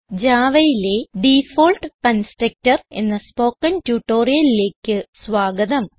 Javaയിലെ default constructor എന്ന spoken ട്യൂട്ടോറിയലിലേക്ക് സ്വാഗതം